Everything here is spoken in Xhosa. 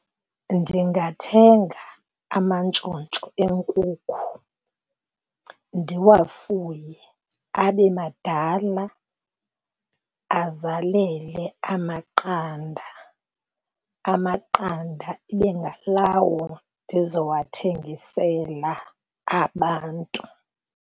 Ndingathenga amantshontsho enkukhu ndiwafuye abe madala, azalele amaqanda. Amaqanda ibe ngalawo ndizowathengisela abantu.